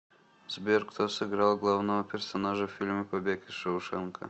сбер кто сыграл главного персонажа в фильме побег из шоушенка